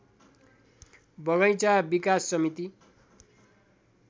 बगैंचा विकास समिति